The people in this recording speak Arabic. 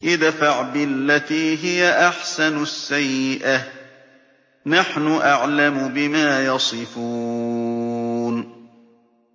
ادْفَعْ بِالَّتِي هِيَ أَحْسَنُ السَّيِّئَةَ ۚ نَحْنُ أَعْلَمُ بِمَا يَصِفُونَ